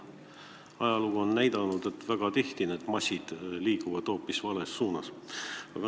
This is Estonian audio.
Ajalugu on näidanud, et väga tihti liiguvad massid hoopis vales suunas.